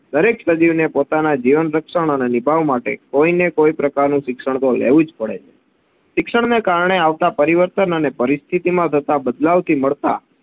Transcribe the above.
દરેક સજીવને પોતાના જીવન રક્ષણ અને નિભાવ માટે કોઈને કોઈ પ્રકારનું શિક્ષણ તો લેવું જ પડે છે. શિક્ષણને કારણે આવતા પરિવર્તન અને પરિષથીતીમાં થતાં બદલાવ થી મળતા